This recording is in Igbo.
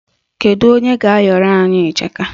Kedu onye ga-ayọrọ anyị ịchaka?